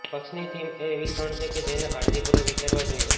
પક્ષની થીમ એ એવી ક્ષણ છે કે જેને કાળજીપૂર્વક વિચારવા જોઇએ